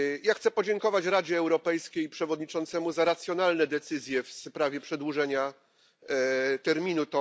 Chcę podziękować Radzie Europejskiej i jej przewodniczącemu za racjonalne decyzje w sprawie przedłużenia terminu.